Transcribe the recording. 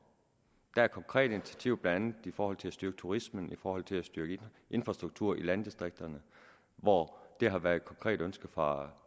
er konkrete initiativer blandt andet i forhold til at styrke turismen i forhold til at styrke infrastrukturen i landdistrikterne og det har været et konkret ønske fra